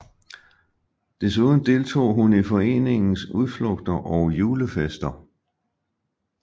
Desuden deltog hun i foreningens udflugter og julefester